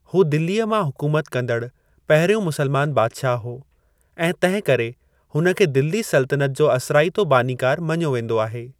हू दिल्लीअ मां हुकूमत कंदड़ु पहिरियों मुस्लमानु बादिशाहु हो, ऐं तंहिं करे हुन खे दिल्ली सल्तनत जो असराइतो बानीकारु मञो वेंदो आहे।